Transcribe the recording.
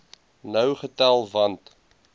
nou getel want